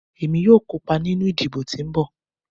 Emi yoo kopa ninu idibo ti nbọ